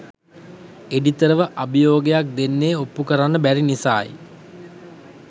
එඩිතරව අභියෝගයක් දෙන්නේ ඔප්පු කරන්න බැරි නිසායි.